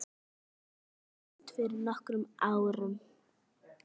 Ólafur lést fyrir nokkrum árum.